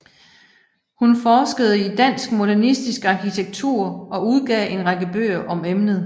Hun forskede i dansk modernistisk arkitektur og udgav en række bøger om emnet